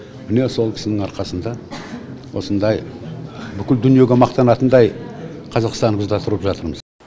міне сол кісінің арқасында осындай бүкіл дүниеге мақтанатындай қазақстанымызда тұрып жатырмыз